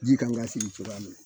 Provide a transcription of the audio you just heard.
Ji kan ka sigi cogoya min na